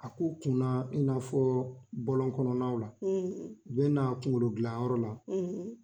A ko kunna in n'a fɔ bɔlɔn kɔnɔnaw la ,, u bɛ n'a kungolo dilan yɔrɔ la,